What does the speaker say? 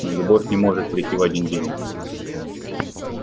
но любовь не может прийти в один день